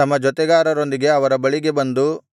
ತಮ್ಮ ಜೊತೆಗಾರರೊಂದಿಗೆ ಅವರ ಬಳಿಗೆ ಬಂದು